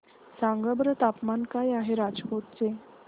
सांगा बरं तापमान काय आहे राजकोट चे